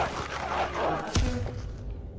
Brønderslev